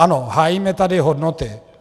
Ano, hájíme tady hodnoty.